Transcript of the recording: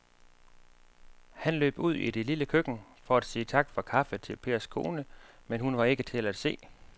Han løb ud i det lille køkken for at sige tak for kaffe til Pers kone, men hun var ikke til at se.